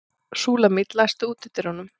Súlamít, læstu útidyrunum.